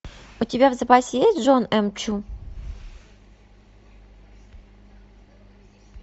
у тебя в запасе есть джон м чу